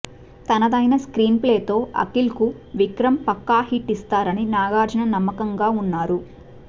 తనదైన screenplay తో అఖిల్ కు విక్రమ్ పక్కా హిట్ ఇస్తారని నాగార్జున నమ్మకంగా ఉన్నారు